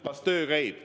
Kas töö käib?